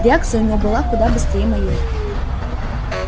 реакция у него была куда быстрее моей